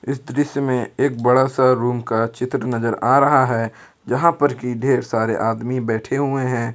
इस दृश्य में एक बड़ा सा रूम का चित्र नजर आ रहा है जहां पर की ढेर सारे आदमी बैठे हुए हैं।